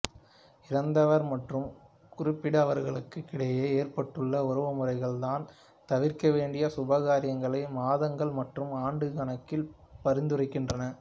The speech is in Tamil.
இறந்தவர் மற்றும் குறிப்பிட்டவர்களுக்கிடையே ஏற்பட்டுள்ள உறவுமுறைகள் தான் தவிர்க்க வேண்டிய சுப காரியங்களை மாதங்கள் மற்றும் ஆண்டு கணக்கில் பரிந்துரைக்கின்றன